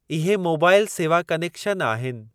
इहे मोबाइल सेवा कनेक्शन आहिनि।